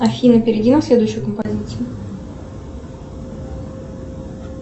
афина перейди на следующую композицию